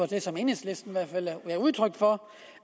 det som enhedslisten gav udtryk for